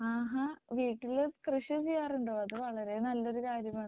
ആഹാ വീട്ടില് കൃഷി ചെയ്യാറുണ്ടോ അത് വളരെ നല്ലൊരു കാര്യമാണ്.